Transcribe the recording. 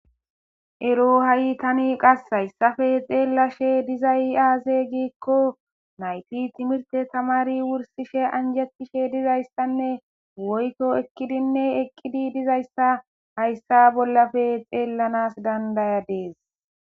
Erri hayi tani hayissape xelashe dizayi aze giko nayiti timirite tamarishe anjetishe dizayissane woyitto ekidi eqidayissa hayissa bolla xelanawu danidayayis.